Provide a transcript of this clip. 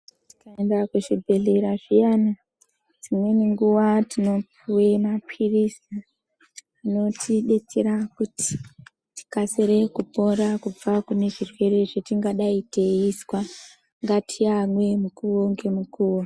Tikaenda kuchibhedhleya zviyane dzimweni nguwa tinopuwa mapirisi anotidetsera kuti tikasire kupota kubva kune zvirwere zvetingadai taizwa ,ngatiamwei mukuwo ngemukuwo.